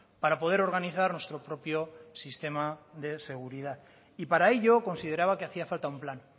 para poder organizar nuestro propio sistema de seguridad y para ello consideraba que hacía falta un plan